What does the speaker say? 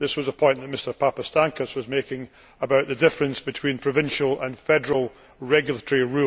This was a point that Mr Papastamkos was making about the difference between provincial and federal regulations.